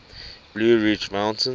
blue ridge mountains